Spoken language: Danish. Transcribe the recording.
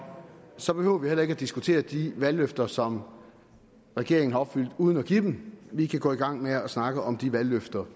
så behøver vi heller ikke at diskutere de valgløfter som regeringen har opfyldt uden at give dem vi kan gå i gang med at snakke om de valgløfter